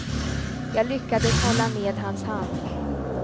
Jag lyckades hålla ned hans hand.